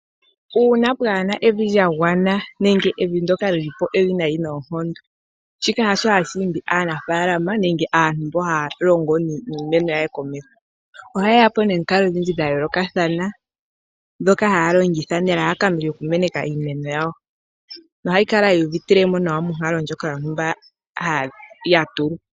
Uuna pwaana evi lya gwana nenge evi ndyoka lyi li po ewinayi noonkondo, shika hasho hashi imbi aanafaalama nenge aantu mboka haa longo niimeno ya ye komeho. Ohaye ya po nomikalo odhindji dha yoolokathana ndhoka haya longitha nelalakano lyoku meneka iimeno yawo, nohayi kala yi uvitile mo nawa monkalo ndjoka yontumba ya tulwa.